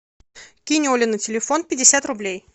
кинь оле на телефон пятьдесят рублей